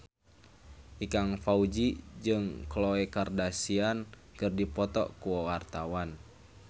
Ikang Fawzi jeung Khloe Kardashian keur dipoto ku wartawan